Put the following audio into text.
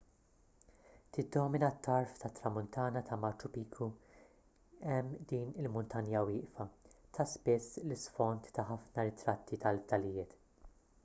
tiddomina t-tarf tat-tramuntana ta' machu picchu hemm din il-muntanja wieqfa ta' spiss l-isfond ta' ħafna ritratti tal-fdalijiet